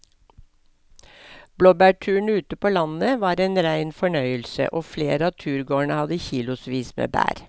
Blåbærturen ute på landet var en rein fornøyelse og flere av turgåerene hadde kilosvis med bær.